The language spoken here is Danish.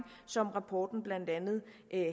som rapporten blandt andet